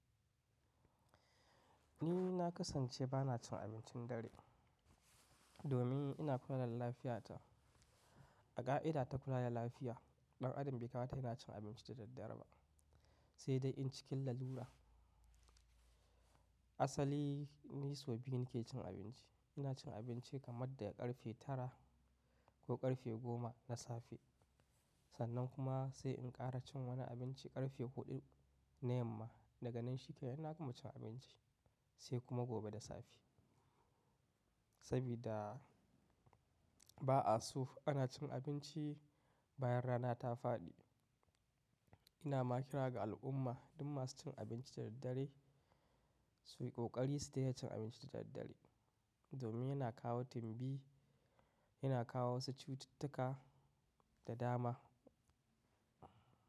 Ni na kasance ba na cin abincin dare domin ina kula da lafiyata. A ƙa'ida ta kula da lafiya, ɗan adam bai kamata yana cin abinci da daddare ba, sai dai in cikin lalura. Asali ni sau biyu nake cin abinci. Ina cin abinci kamar daga ƙarfe tara ko ƙarfe goma na safe, sannan kuma sai in ƙara cin wani abinci ƙarfe huɗu na yamma. Daga nan shi kenan na gama cin abinci sai kuma gobe da safe. Sabida ba'a so ana cin abinci bayan rana ta faɗi. Ina ma kira ga al'umma duk masu cin abinci da daddare su yi ƙoƙari su daina cin abinci da daddare a domin yana kawo timbi, yana kawo wasu cututtuka da dama.